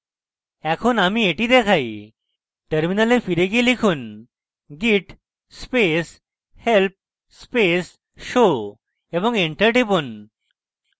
এখন আমি এটি দেখাই terminal ফিরে গিয়ে লিখুন: git space help space show এবং enter টিপুন